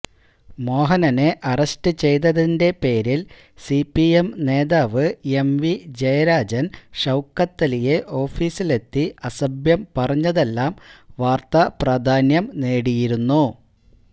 മോഹനനെ arrest ചെയ്തതിന്റെ പേരിൽ സിപിഎം നേതാവ് എംവി ജയരാജൻ ഷൌക്കത്തലിയെ ഓഫീസിലെത്തി അസഭ്യം പറഞ്ഞതെല്ലാം വാർത്താ പ്രാധാന്യം നേടിയിരുന്നു